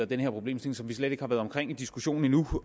den her problemstilling som vi slet ikke har været omkring i diskussionen endnu